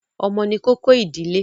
Ọmọ ni kókó ìdílé.